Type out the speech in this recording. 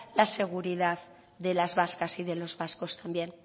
la seguridad de las vascas y de los vascos también